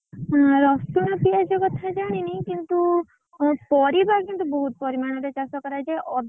ରସୁଣ ପିଆଜ କଥା ଜାଣିନି କିନ୍ତୁ, ପରିବା କିନ୍ତୁ ବହୁତ୍ ପରିମାଣରେ ଚାଷ କରାଯାଏ।